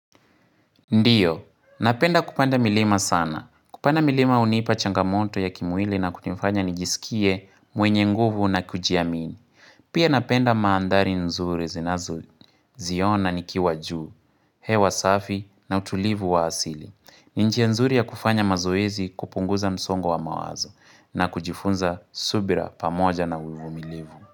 Ndiyo, napenda kupanda milima sana. Kupanda milima hunipa changamoto ya kimwili na kunifanya nijisikie mwenye nguvu na kujiamini. Pia napenda mandhari nzuri zinazo ziona nikiwa juu, hewa safi na utulivu wa asili. Ni njia nzuri ya kufanya mazoezi kupunguza msongo wa mawazo na kujifunza subira pamoja na uvumilivu.